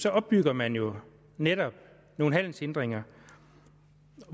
opbygger man jo netop nogle handelshindringer